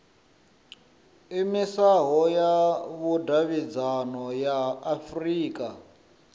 iimisaho ya vhudavhidzano ya afurika